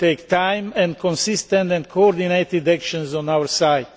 It will take time and consistent and coordinated actions on our side.